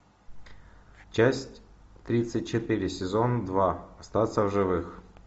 часть тридцать четыре сезон два остаться в живых